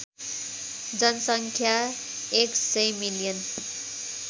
जनसङ्ख्या १०० मिलियन